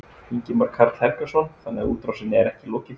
Ingimar Karl Helgason: Þannig að útrásinni er ekki lokið?